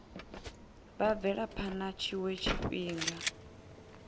u bvela phana tshiwe tshifhinga